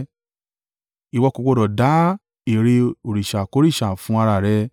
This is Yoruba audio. “Ìwọ kò gbọdọ̀ dá ère òrìṣàkórìṣà fún ara rẹ.